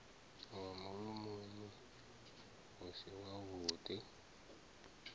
wa mulomoni u si wavhuḓi